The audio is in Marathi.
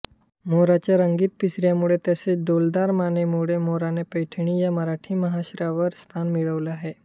मोराच्या रंगीत पिसाऱ्यामुळे तसेच डौलदार मानेमुळे मोराने पैठणी या मराठी महावस्त्रावर स्थान मिळवले आहे